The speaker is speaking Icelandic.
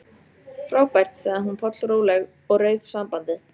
Frábært sagði hún pollróleg og rauf sambandið.